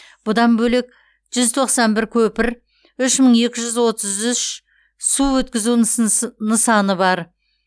бұдан бөлек жүз тоқсан бір көпір үш мың екі жүз отыз үш су өткізу нысаны бар